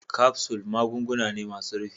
kapsul magunguna ne masun rufi.